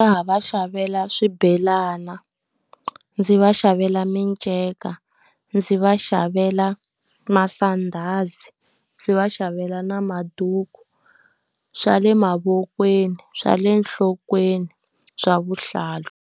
Nga ha va xavela swibelana, ndzi va xavela miceka, ndzi va xavela masandhazi, ndzi va xavela na maduku. Swa le mavokweni, swa le nhlokweni, swa vuhlalu.